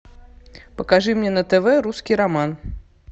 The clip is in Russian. покажи мне на тв русский роман